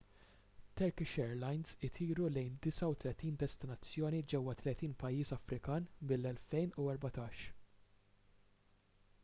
turkish airlines itiru lejn 39 destinazzjoni ġewwa 30 pajjiż afrikan mill-2014